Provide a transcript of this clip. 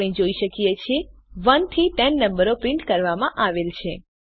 આપણે જોઈ શકીએ છીએ 1 થી 10 નંબરો પ્રિન્ટ કરવામાં આવેલ છે